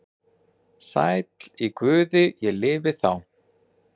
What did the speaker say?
Sæll í Guði ég lifi þá.